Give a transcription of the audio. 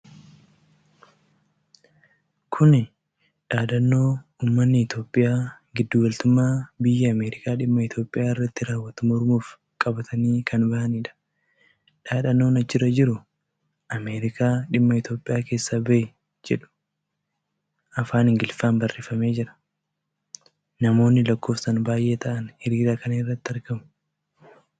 Kuni dhaadannoo ummati Itiyoophiyaa giddu galtummaa biyyi Ameerikaa dhimma Itoophiyaa irratti raawwattu mormuuf qabatanii kan bahaniidha. Dhaadannoon achirra jiru "Ameerikaa dhimma Itoophiyaa keessaa bahi jedhu" afaan Ingiliffaan baarreefamee jira. Namoonni lakkoofsaan baay'ee ta'an hiriira kana irratti argamu.